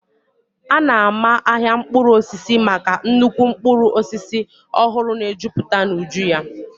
A na-ama ahịa mkpụrụ osisi maka nnukwu mkpụrụ osisi ọhụrụ na-ejuputa n'uju ya.